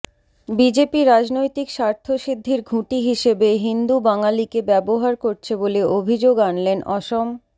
BJP রাজনৈতিক স্বার্থসিদ্ধির ঘুঁটি হিসেবে হিন্দু বাঙালিকে ব্যবহার করছে বলে অভিযোগ আনলেন অসম